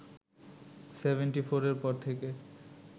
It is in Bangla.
সেভেনটি ফোরের পর থেকে